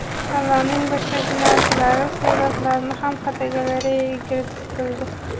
Tanlovning boshqa finalchilari suratlari ham fotogalereyaga kiritildi.